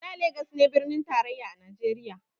Da legas ne birnin tarayya a najeriya